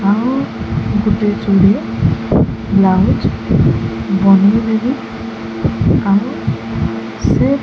ଆଉ ଗୋଟେ ଚୁନରି ବ୍ଲାଉଜ ବନେଇ ଦେବି ଆଉ ସେ --